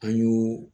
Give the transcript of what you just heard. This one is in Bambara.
An y'o